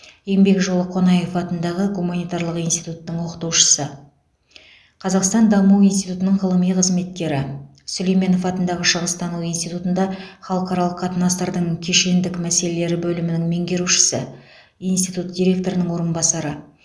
еңбек жолы қонаев атындағы гуманитарлық институттың оқытушысы қазақстан даму институтының ғылыми қызметкері сүлейменов атындағы шығыстану институтында халықаралық қатынастардың кешендік мәселелері бөлімінің меңгерушісі институт директорының орынбасары